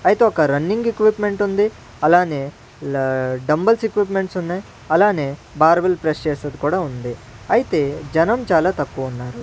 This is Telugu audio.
అయితే ఒక రన్నింగ్ ఎక్యూప్మెంట్ ఉంది అలానే లా డంబుల్స్ ఎక్యుప్మెంట్స్ ఉన్నాయి అలానే బార్బల్ ప్రెస్ చేసేది కూడా ఉంది అయితే జనం చాలా తక్కువ ఉన్నారు.